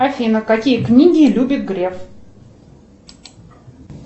афина какие книги любит греф